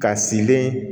Ka silen